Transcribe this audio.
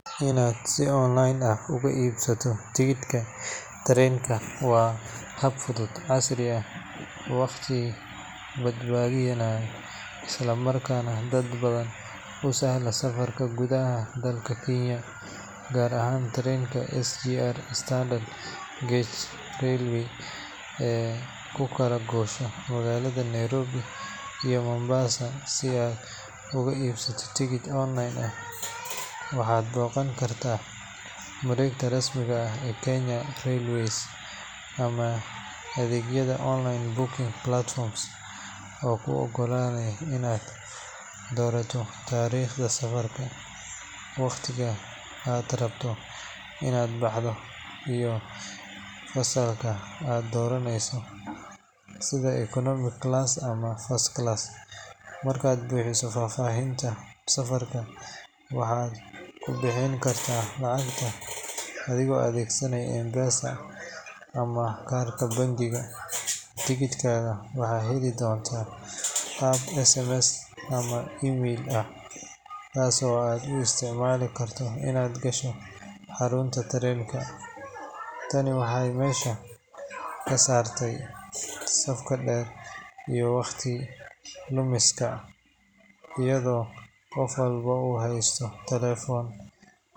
Inaad si online ah uga iibsato tigidhka tareenka waa hab fudud, casri ah, waqti badbaadinaya isla markaana dad badan u sahla safarka gudaha dalka Kenya, gaar ahaan tareenka SGR (Standard Gauge Railway) ee u kala goosha magaalada Nairobi iyo Mombasa. Si aad uga iibsato tigidhka online, waxaad booqan kartaa mareegta rasmiga ah ee Kenya Railways ama adeegyada online booking platforms oo kuu oggolaanaya inaad doorato taariikhda safarka, waqtiga aad rabto inaad baxdo, iyo fasalka aad doonayso sida economy class ama first class. Markaad buuxiso faahfaahinta safarka, waxaad ku bixin kartaa lacagta adigoo adeegsanaya M-Pesa ama kaarka bangiga. Tigidhkaaga waxaad heli doontaa qaab SMS ama email ah, kaasoo aad u isticmaali karto inaad gasho xarunta tareenka. Tani waxay meesha ka saartay safka dheer iyo waqti lumiska, iyadoo qof walba oo haysta taleefan.